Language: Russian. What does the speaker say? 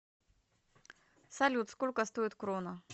салют сколько стоит крона